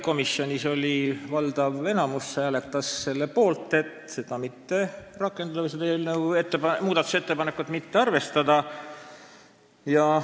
Komisjonis hääletas enamik liikmeid selle muudatusettepaneku mittearvestamise poolt.